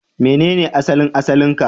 Menene asalin asalin ka?